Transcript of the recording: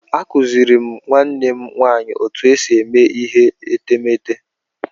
M kụziiri nwanne m nwaanyị otú e si eme ihe etemeete.